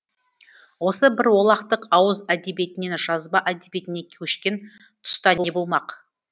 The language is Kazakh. осы бір олақтық ауыз әдебиетінен жазба әдебиетіне көшкен тұста не болмақ